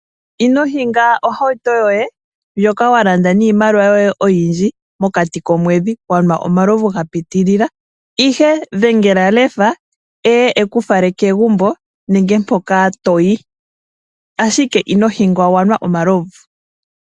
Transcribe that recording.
Ino hinga ohauwuto yoye ndjoka walanda niimaliwa yoye oyindji mokati komwedhi wanwa omalovu ga pitilila. Ihe, dhengela Lefa eye eku fale kegumbo nenge mpoko toyi, ashike ino hinga wanwa omalovu.